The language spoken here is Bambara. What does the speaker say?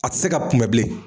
A tɛ se ka kunbɛn bilen.